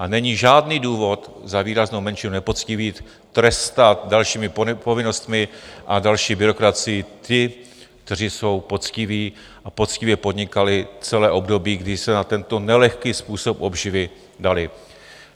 A není žádný důvod za výraznou menšinu nepoctivých trestat dalšími povinnostmi a další byrokracii ty, kteří jsou poctiví a poctivě podnikali celé období, kdy se na tento nelehký způsob obživy dali.